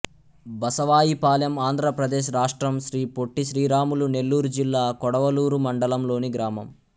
బసవాయిపాలెం ఆంధ్ర ప్రదేశ్ రాష్ట్రం శ్రీ పొట్టి శ్రీరాములు నెల్లూరు జిల్లా కొడవలూరు మండలం లోని గ్రామం